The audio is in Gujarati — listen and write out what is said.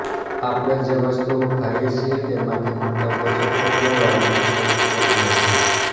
આપણે જે વસ્તુઓ ખાઈ છીએ તેમાંથી મળતા પોષકતત્વો વાળને સ્વસ્થ બનાવે છે